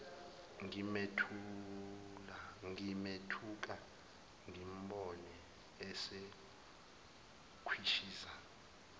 ngimethuka ngimbone esekhwishiza